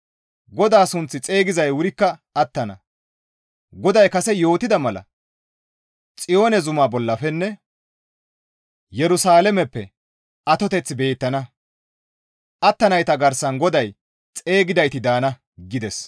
GODAA sunth xeygizay wurikka attana; GODAY kase yootida mala Xiyoone zuma bollafenne Yerusalaameppe atoteththi beettana; attanayta garsan GODAY xeygidayti daana» gides.